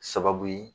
Sababu ye